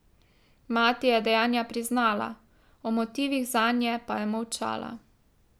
Mati je dejanja priznala, o motivih zanje pa je molčala.